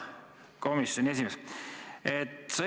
Hea komisjoni esimees!